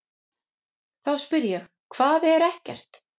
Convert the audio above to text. Þá spyr ég: HVAÐ ER EKKERT?